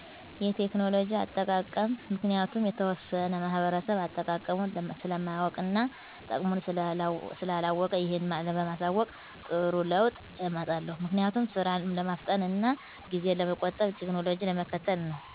የቴክኖሎጂ አጠቃቀም ምክንያቱም የተወሠነ ማህበረሰብ አጠቃቀሙን ስለማያውቅ እና ጥቅሙን ስላላወቀ ይህን በማሣወቅ ጥሩ ለውጥ አመጣለሁ። ምክንያቱም፦ ስራን ለማፍጠን እና ጊዜን ለመቆጠብ ቴክኖሎጂን ለመከተል ነው።